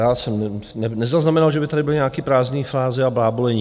Já jsem nezaznamenal, že by tady byly nějaké prázdné fáze a blábolení.